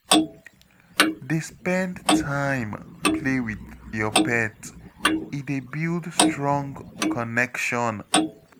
Dey spend time play with your pet, e dey build strong connection